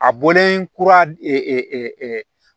A bɔlen kura